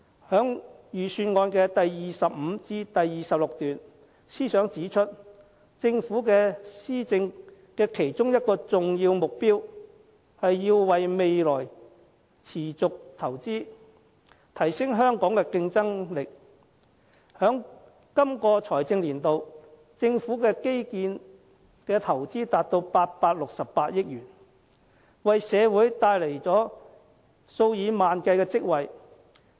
在預算案第25至26段，司長指出，政府施政的其中一個重要目標是要為未來持續投資，提升香港的競爭力，在這個財政年度，政府在基建的投資達868億元，為社會帶來數以萬計職位。